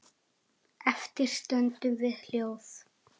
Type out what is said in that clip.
Eftir stöndum við hljóð.